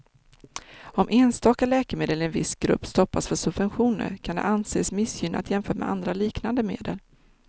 Om enstaka läkemedel i en viss grupp stoppas för subventioner kan det anses missgynnat jämfört med andra liknande medel.